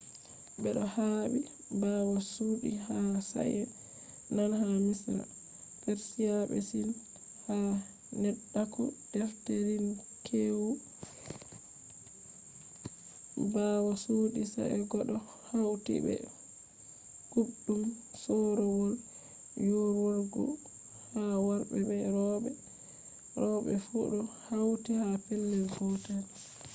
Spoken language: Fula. bedo habe bawo chudi ha sa'è nane ha misra persia be sin. ha neddaku-defterinkweewu ruum bawo chudi sa'e go do hauti be kuubdum soorowol yiiworgu ha worbe be robe fu do hauti ha pellel gotel